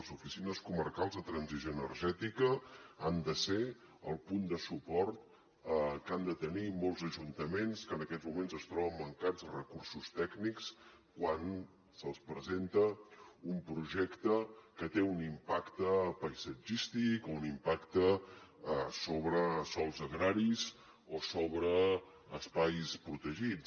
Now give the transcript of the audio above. les oficines comarcals de transició energètica han de ser el punt de suport que han de tenir molts ajuntaments que en aquests moments es troben mancats de recursos tècnics quan se’ls presenta un projecte que té un impacte paisatgístic o un impacte sobre sòls agraris o sobre espais protegits